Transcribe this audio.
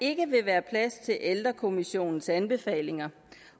ikke vil være plads til ældrekommissionens anbefalinger